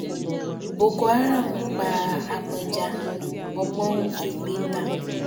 boko haram pa apẹja ọgbọ̀n un figbe ta